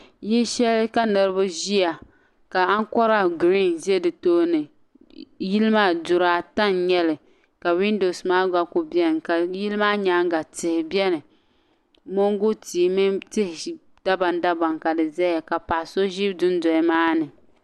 Yili shɛli ka niraba ʒiya ka ankora. giriin ʒɛ di tooni yili maa duri ata n nyɛli ka windoos maa gba kuli biɛni yili maa nyaanga tihi biɛni moongu tihi mini tihi dabam dabam ka di ʒɛya ka paɣaso ʒi dundoli maa ni